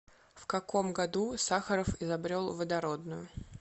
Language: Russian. в каком году сахаров изобрел водородную